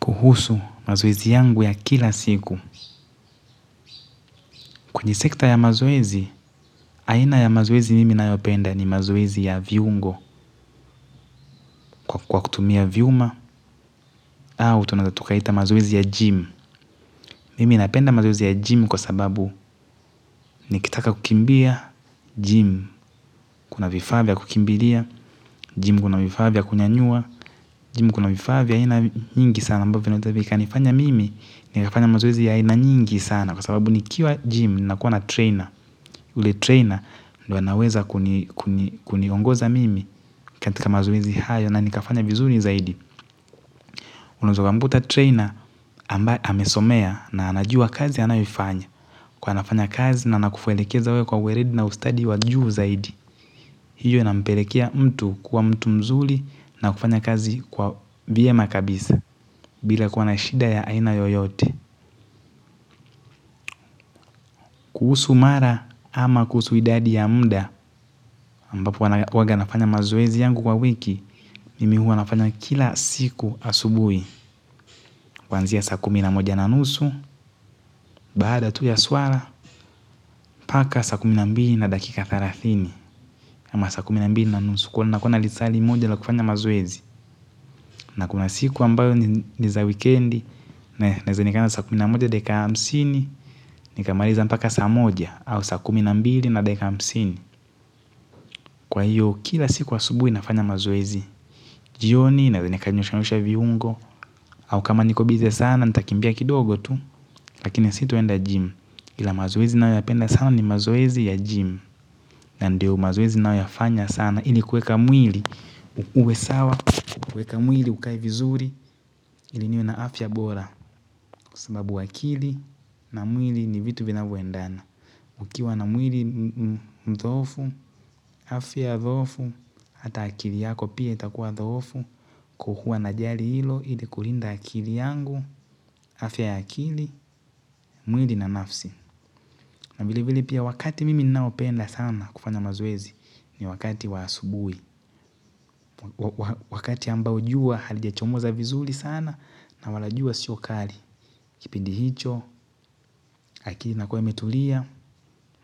Kuhusu mazoezi yangu ya kila siku. Kwenye sekta ya mazoezi, aina ya mazoezi mimi nayopenda ni mazoezi ya viungo kwa kutumia vyuma au tunaeza tukaita mazoezi ya gym. Mimi napenda mazoezi ya gym kwa sababu nikitaka kukimbia, gym kuna vifaa vya kukimbilia, gym kuna vifaa vya kunyanyua, gym kuna vifaa vya aina nyingi sana ambavyo vinaweza vikanifanya mimi, nikafanya mazoezi ya aina nyingi sana. Kwa sababu nikiwa gym, ninakuwa na trainer. Ule trainer, ndio anaweza kuniongoza mimi katika mazoezi hayo na nikafanya vizuri zaidi. Unaweza ukamkuta trainer, ambaye amesomea na anajua kazi anayoifanya. Kwa hivyo anafanya kazi na anakuelekeza wewe kwa weledi na ustadi wa juu zaidi. Hiyo inampelekea mtu kuwa mtu mzuri na kufanya kazi kwa vyema kabisa. Bila kuwa na shida ya aina yoyote. Kuhusu mara ama kuhusu idadi ya muda, ambapo huwaga nafanya mazoezi yangu kwa wiki mimi huwa nafanya kila siku asubuhi. Kuanzia saa kumi na moja na nusu baada tu ya swala mpaka saa kumi na mbili na dakika thelathini. Ama saa kumi na mbili na nusu. Kuwa na kuwa na lisaa limoja la kufanya mazoezi. Na kuna siku ambayo ni za wikendi naeza onekana sqa kumi na moja dakika hamsini, nikamaliza mpaka saw moja au saa kumi na mbili na dakika hamsini. Kwa hiyo kila siku asubuhi nafanya mazoezi. Jioni nawekanisha viungo. Au kama niko busy sana nitakimbia kidogo tu. Lakini sitaenda gym kila mara. Siwezi nayo yapenda sana ni mazoezi ya gym. Na ndio mazoezi nayoyafanya sana. Ili kuweka mwili uwe sawa, kuweka mwili ukae vizuri ili niwe na afya bora. Kwa sababu akili na mwili ni vitu vinavyoendana. Ukiwa na mwili dhoofu, afya dhoofu. Hata akili yako pia itakuwa dhoofu kwa huwa najali hilo ili kulinda akili yangu, afya ya akili, mwili na nafsi. Na vilevile pia wakati mimi ninaopenda sana kufanya mazoezi ni wakati wa asubuhi. Wakati ambao jua halijachomoza vizuri sana na wala jua sio kali. Kipindi hicho, akili inakuwa imetulia,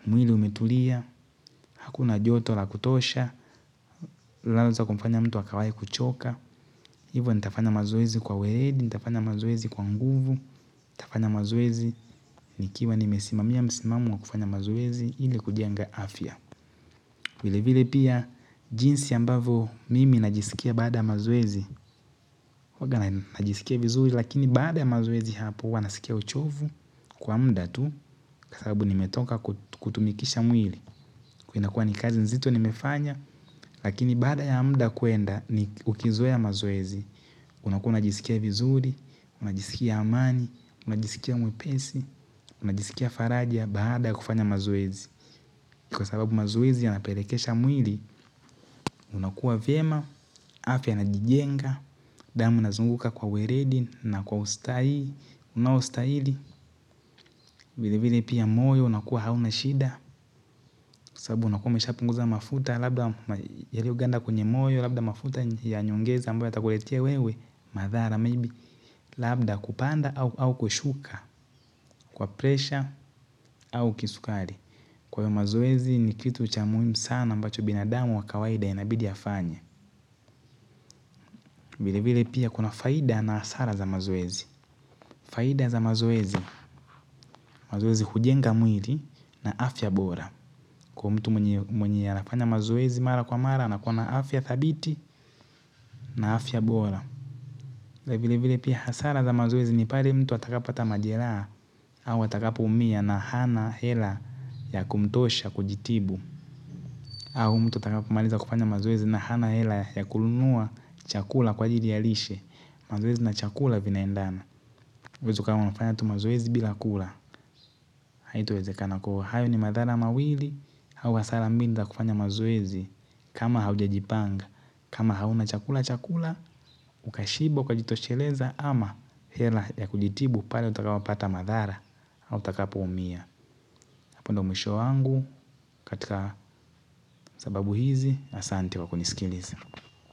mwili umetulia, hakuna joto la kutosha, laweza kumfanya mtu akawahi kuchoka. Hivo nitafanya mazoezi kwa weledi, nitafanya mazoezi kwa nguvu, nitafanya mazoezi, nikiwa nimesimamia msimamo wa kufanya mazoezi, ili kujenga afya. Vilevile pia, jinsi ambavyo mimi najisikia baada ya mazoezi, huwanga najisikia vizuri, lakini baada ya mazoezi hapo, huwa nasikia uchovu kwa muda tu, kwa sababu nimetoka kutumikisha mwili. Huwa inakua ni kazi nzito nimefanya, lakini baada ya muda kuenda ni ukizoea mazoezi. Unakuwa unajisikia vizuri, unajisikia amani, unajisikia mwepesi, unajisikia faraja baada ya kufanya mazoezi. Kwa sababu mazoezi yanapelekesha mwili, unakua vyema, afya inajijenga, damu inazunguka kwa weledi na kwa ustahi, unaostahili. Vilevile pia moyo unakuwa hauna shida sababu unakuwa umeshapunguza mafuta labda yalioganda kwenye moyo, labda mafuta ya nyongeza ambayo yatakuletea wewe madhara maybe labda kupanda au kushuka kwa presha. Au kisukari. Kwa hiyo mazoezi ni kitu cha muhimu sana ambacho binadamu wa kawaida inabidi afanye. Vilevile pia kuna faida na hasara za mazoezi. Faida za mazoezi. Mazoezi hujenga mwili na afya bora. Kwa mtu mwenye anafanya mazoezi mara kwa mara anakuwa na afya thabiti na afya bora, vilevile pia hasara za mazoezi ni pale mtu atakapopata majeraha, au atakapoumia na hana hela ya kumtosha kujitibu au mtu atakapomaliza kufanya mazoezi na hana hela ya kununua chakula kwa ajili ya lishe. Mazoezi na chakula vinaendana. Huwezi ukawa unafanya tu mazoezi bila kula, haitawezekana. Kwa hiyo hayo ni madhara mawili au hasara mbili za kufanya mazoezi. Kama haujajipanga kama hauna chakula cha kula ukashiba, ukajitosheleza ama hela ya kujitibu pale utakapopata madhara au utakapoumia. Hapo ndio mwisho wangu katika sababu hizi, asante kwa kunisikiliza.